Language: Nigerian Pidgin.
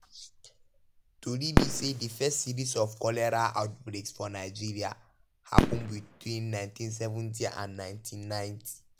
tori be say di first series of cholera outbreaks for nigeria happun between 1970 and 1990.